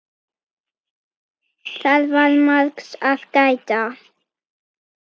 Það var margs að gæta.